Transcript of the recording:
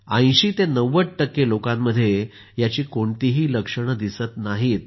80 ते 90 टक्के लोकांमध्ये याची कोणतीही लक्षणं दिसत नाहीत